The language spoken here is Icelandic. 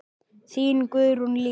Þín, Guðrún Lísa.